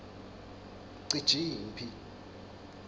cijimphi